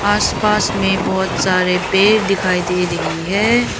आसपास में बहोत सारे पेड़ दिखाई दे रही हैं।